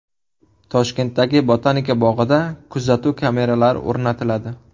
Toshkentdagi Botanika bog‘ida kuzatuv kameralari o‘rnatiladi.